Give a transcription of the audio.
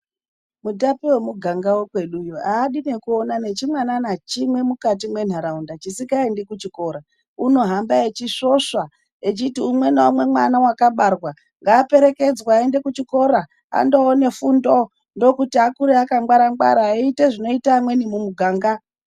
Mutape wemuganga wekweduyo aadi nekuona nechimwana nachimwe mukati mwenharaunda chisikaendi kuchikora. Unohamba eisvosva echiti umwe ngaumwe mwana wakabarwa ngaaperekedzwe aende kuchikora, andoona fundo. Ndokuti akure angwara-ngwara eiita zvinoita amweni mumuganga.